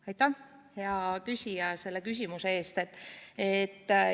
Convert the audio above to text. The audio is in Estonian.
Aitäh, hea küsija, selle küsimuse eest!